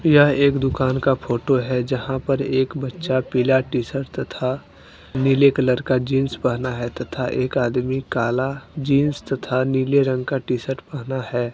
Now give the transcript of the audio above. यह एक दुकान का फोटो है जहां पर एक बच्चा पीला टी शर्ट तथा नीले कलर का जींस पहना है तथा एक आदमी काला जींस तथा नीले रंग का टी शर्ट पहना है।